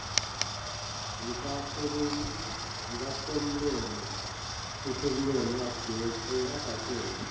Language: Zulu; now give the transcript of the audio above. zikasomlomo usomlomo angatshela